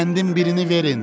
Qəndin birini verin.